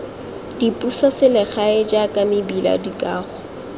dipuso selegae jaaka mebila dikago